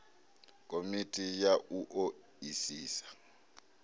komiti ya u o isisa